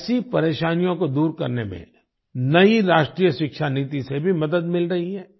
ऐसी परेशानियों को दूर करने में नई राष्ट्रीय शिक्षा नीति से भी मदद मिल रही है